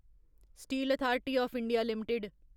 steel authority of India limited